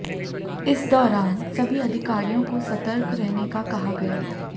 इस दौरान सभी अधिकारियों को सतर्क रहने का कहा गया